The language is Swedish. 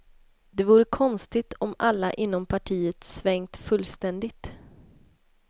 Det vore konstigt om alla inom partiet svängt fullständigt.